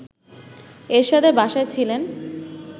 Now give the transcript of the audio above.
এরশাদের বাসায় ছিলেন